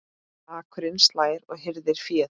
Akurinn slær og hirðir féð.